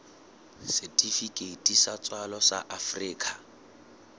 setifikeiti sa tswalo sa afrika